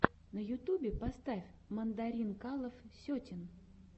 на ютьюбе поставь мандаринкалов сетин